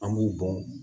An b'u bɔn